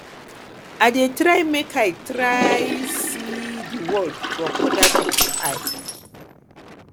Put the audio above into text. i dey try make i try make i see di world from oda pipo eye